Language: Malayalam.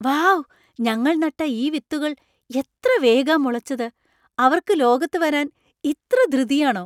വൗ , ഞങ്ങൾ നട്ട ഈ വിത്തുകൾ എത്ര വേഗാ മുളച്ചത്. അവർക്ക് ലോകത്ത് വരാന്‍ ഇത്ര ധൃതിയാണോ!